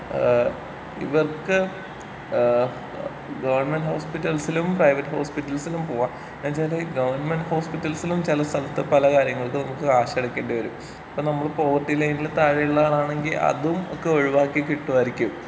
ഏഹ് ഇവർക്ക് ഏഹ് ഗവണ്മെന്റ് ഹോസ്പിറ്റൽസിലും പ്രൈവറ്റ് ഹോസ്പിറ്റൽസിലും പോവാം എന്ന് വെച്ചാലീ ഗവണ്മെന്റ് ഹോസ്പിറ്റൽസിലും ചെല സ്ഥലത്ത് പല കാര്യങ്ങൾക്കും നമ്മുക്ക് ക്യാഷ് അടക്കേണ്ടി വരും. ഇപ്പൊ നമ്മള് പോവേർട്ടി ലൈനിന് താഴെ ഉള്ള ആളാണെങ്കി അതും ഒക്കെ ഒഴിവാക്കി കിട്ടുവായിരിക്കും.